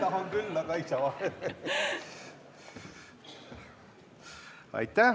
Aitäh!